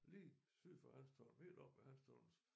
Lige syd for Hanstholm helt oppe ved Hanstholms